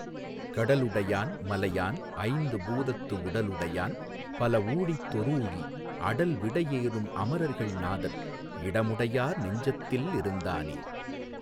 கடலுடை யான்மலை யான்ஐந்து பூதத்துஉடலுடை யான்பல ஊழிதொ றூழிஅடல்விடை யேறும் அமரர்கள் நாதன்இடமுடை யார்நெஞ்சத் தில்லிருந் தானே.